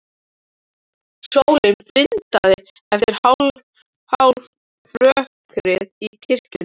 Sólin blindaði eftir hálfrökkrið í kirkjunni.